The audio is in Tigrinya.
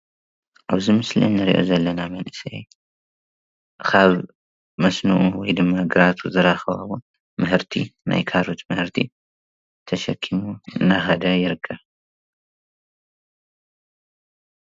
ኣበዚ ምስሊ ንርኦ ዘለና መንእሰይ ካብ መስኖ/ግራቱ/ ዝረከቦ ምህርቲ ናይ ካሮት ምህርቲ ተሸኪሙ እንዳኸደ ይርከብ።